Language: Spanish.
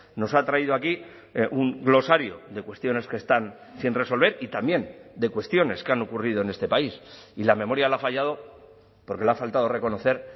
nos ha traído aquí un glosario de cuestiones que están sin resolver y también de cuestiones que han ocurrido en este país y la memoria le ha fallado porque le ha faltado reconocer